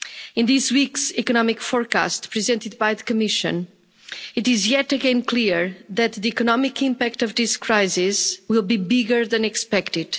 In this week's economic forecast presented by the Commission, it is yet again clear that the economic impact of this crisis will be bigger than expected.